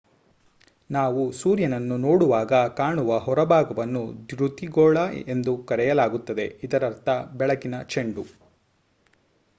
ನಾವು ಸೂರ್ಯನನ್ನು ನೋಡುವಾಗ ಕಾಣುವ ಹೊರಭಾಗವನ್ನು ದ್ಯುತಿಗೋಳ ಎಂದು ಕರೆಯಲಾಗುತ್ತದೆ ಇದರರ್ಥ ಬೆಳಕಿನ ಚೆಂಡು